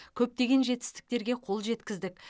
көптеген жетістіктерге қол жеткіздік